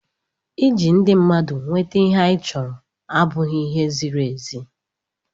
ịji ndị mmadụ nweta ihe anyị chọrọ abụghị ihe ziri ezi